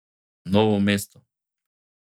Novo mesto.